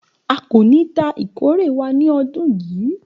A ko ni ta ikore wa ni ọdun yii